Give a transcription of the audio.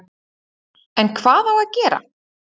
En hvað á að gera